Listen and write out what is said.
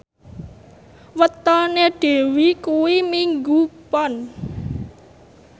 wetone Dewi kuwi Minggu Pon